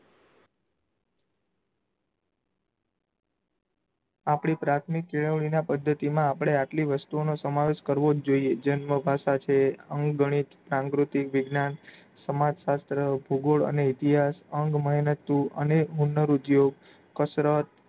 આપડી પ્રાથમિક કેળવણીમાં પદ્ધતિમાં આપડે આટલી વસ્તુઓનો સમાવેશ કરવો જ જોઇયે. જન્મભાષા છે, અંકગણિત, સમાજશાસ્ત્ર, ભૂગોડ, અને ઇતિહાસ, અંગમહેનતું, અને હુન્નર ઉધ્યોગ, કસરત,